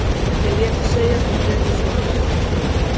En þeir létu segjast og hlupu svo af vettvangi.